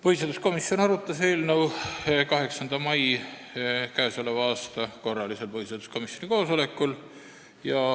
Põhiseaduskomisjon arutas eelnõu k.a 8. mai korralisel põhiseaduskomisjoni koosolekul.